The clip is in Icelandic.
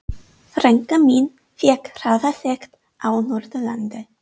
Frænka mín fékk hraðasekt á Norðurlandi.